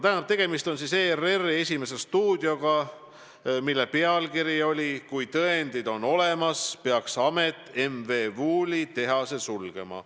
Tähendab, tegemist on siis ERR-i "Esimese stuudioga", saate seekordne pealkiri oli "Kui tõendid on olemas, peaks amet M. V. Wooli tehase sulgema".